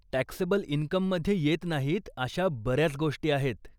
Taxable इनकममध्ये येत नाहीत अशा बऱ्याच गोष्टी आहेत.